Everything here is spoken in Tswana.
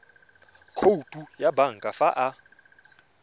khoutu ya banka fa ba